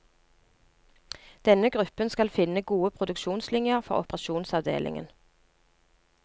Denne gruppen skal finne gode produksjonslinjer for operasjonsavdelingen.